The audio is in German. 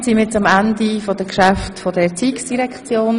Damit sind wir am Ende der Geschäfte der Erziehungsdirektion.